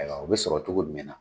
O bɛ sɔrɔ cogo jumɛn na